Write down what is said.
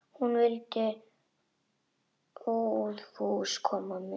Hún vildi óðfús koma með.